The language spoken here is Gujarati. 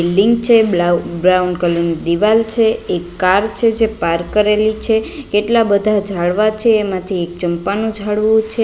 બિલ્ડીંગ છે બ્લાઉ બ્રાઉન કલર ની દીવાલ છે એક કાર છે જે પાર્ક કરેલી છે કેટલા બધા ઝાડવા છે એમાથી એક ચંપાનું ઝાડવું છે.